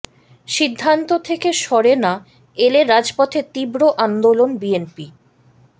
সিদ্ধান্ত থেকে সরে না এলে রাজপথে তীব্র আন্দোলন বিএনপি